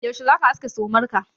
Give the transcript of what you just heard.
Yaushe za ka aske sumar ka?